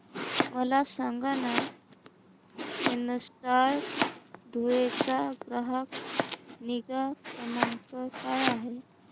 मला सांगाना केनस्टार धुळे चा ग्राहक निगा क्रमांक काय आहे